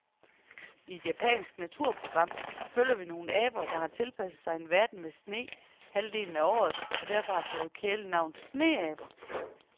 I et japansk naturprogram følger vi nogle aber, der har tilpasset sig en verden med sne halvdelen af året og derfor har fået kælenavnet sneaber.